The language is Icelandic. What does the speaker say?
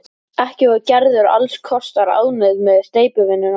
Ekki var Gerður alls kostar ánægð með steypuvinnuna.